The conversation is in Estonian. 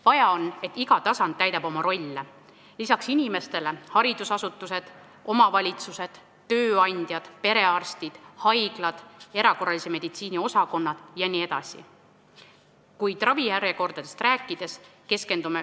Vaja on, et iga tasand täidaks oma rolli, peale inimeste teeksid seda ka haridusasutused, omavalitsused, tööandjad, perearstid, haiglad, erakorralise meditsiini osakonnad jne.